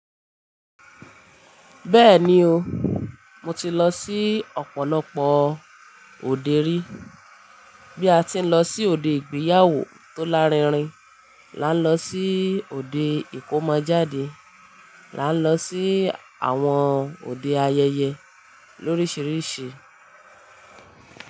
Bẹ́ẹ̀ni o, mo ti lọ sí ọ̀pọ̀lọpọ̀ òde rí. Bí a ti ń lọ sí òde ìgbéyàwó tó lárinrin, là ń lọ sí òde ìkómọjáde, là ń lọ sí àwọn òde ayẹyẹ lórísìírísìí.